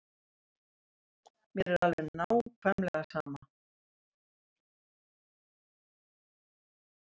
Mér er alveg nákvæmlega sama.